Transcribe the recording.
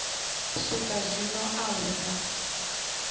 swika zwino a hu na